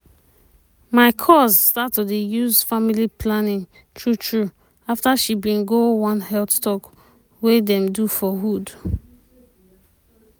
my cuz start to dey use family planning true true afta she bin go one health talk wey dem do for hood.